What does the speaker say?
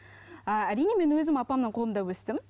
ааа әрине мен өзім апамның қолында өстім